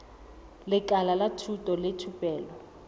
lekala la thuto le thupelo